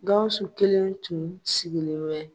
Gawusu kelen tun sigilen bɛ.